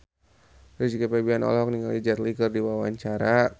Rizky Febian olohok ningali Jet Li keur diwawancara